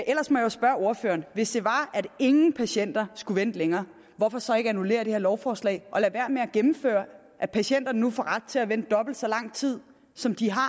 ellers må jeg spørge ordføreren hvis det var at ingen patienter skulle vente længere hvorfor så ikke annullere det her lovforslag og lade være med at gennemføre at patienterne nu får ret til at vente dobbelt så lang tid som de har